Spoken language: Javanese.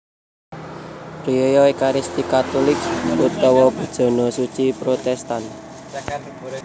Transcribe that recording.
Riyaya Ékaristi Katulik utawa Bujana Suci Protèstan